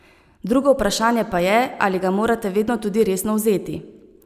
Drugo vprašanje pa je, ali ga morate vedno tudi resno vzeti.